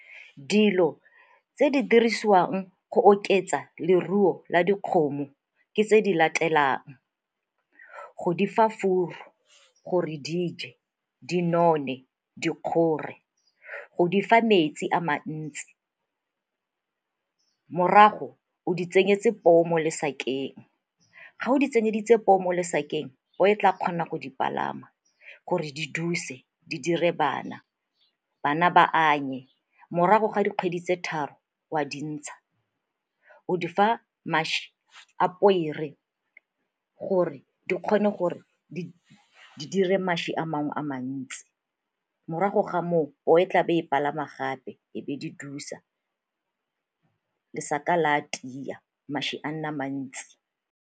Dilo tse di dirisiwang go oketsa leruo la dikgomo ke tse di latelang, go difa furu gore di je, di none, di kgore, go di fa metsi a mantsi. Morago o di tseyetse poo mo lesakeng, ga o di tseyeditse poo mo lesakeng poo e tla kgona go di palama gore di duse di dire bana, bana ba anye, morago ga dikgwedi tse tharo o a di ntsha. O di fa mašwi a pere gore di kgone gore di dire mašwi a mangwe a mantsi morago, ga moo poo e tla be e di palama gape e be di dusa, lesaka le a tia, mašwi a nne a mantsi.